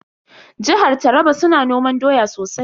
Jihar Taraba su na noman doya sosai.